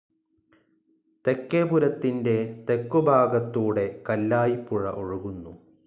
തെക്കേപുരത്തിൻ്റെ തെക്കുഭാഗത്തൂടെ കല്ലായിപ്പുഴ ഒഴുകുന്നു.